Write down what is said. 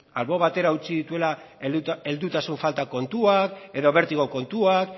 albo batera utzi dituela heldutasun falta kontuak edo bertigo kontuak